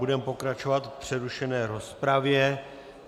Budeme pokračovat v přerušené rozpravě.